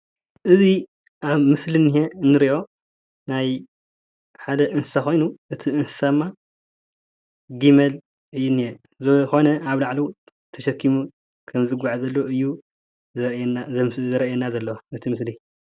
እዚ ኣብ ምስሊ እኒሆ እንሪኦ ናይ ሓደ እንስሳ ኮይኑ እቲ እንስሳ ድማ ጊመል እዩ እኒሆ ዝኾነ ኣብ ላዕሉ ተሸኪሙ ከም ዝጓዓዝ ዘሎ እዩ ዘሪእየና ዘሎ እቲ ምስሊ።